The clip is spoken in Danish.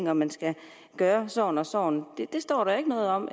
at man skal gøre sådan og sådan det står der ikke noget om